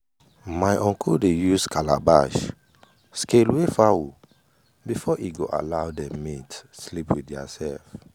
my uncle dey use calabash scale weigh fowl before e go allow dem mate sleep with their self.